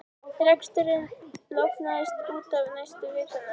Reksturinn lognaðist út af næstu vikurnar.